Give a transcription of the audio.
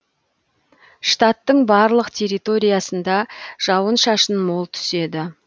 штаттың барлық территориясында жауын шашын мол түседі